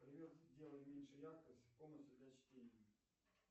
привет сделай меньше яркость в комнате для чтения